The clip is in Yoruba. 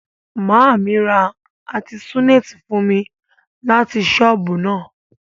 Maami ra artesunate fun mi lati soobu na.